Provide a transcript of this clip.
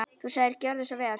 Þú sagðir: Gjörðu svo vel.